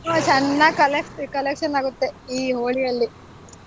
ಹ್ಮ್ ಚೆನ್ನಾಗ್ collect collection ಆಗುತ್ತೆ ಈ ಹೋಳಿಯಲ್ಲಿ.